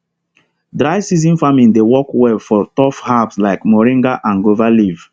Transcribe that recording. dry season farming dey work well for tough herbs like moringa and guava leaf